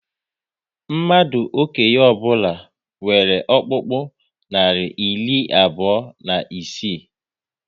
Mmadụ okenye ọbụla nwere ọkpụkpụ narị iri abụọ na isii